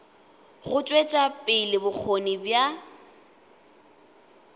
go tšwetša pele bokgoni bja